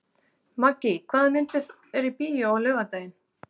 Maggý, hvaða myndir eru í bíó á laugardaginn?